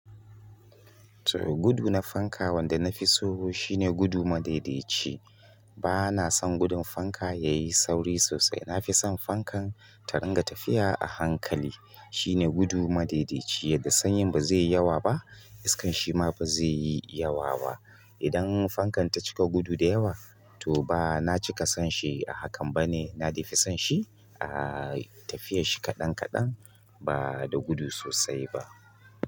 To gudu na fanka wanda na fi so shine gudu madaidaici. Ba na son gudun fanka yayi sauri sosai. Na fi son fankan ta ringa tafiya a hankali shine gudu madaidaici yadda sanyin ba zai yi yawa ba, iskan shi ma ba zai yi yawa ba. Idan fankan ta cika gudu da yawa to ba na cika son shi a hakan ba ne. Na dai fi son shi a tafiyash shi kaɗan kaɗan ba da gudu sosai ba.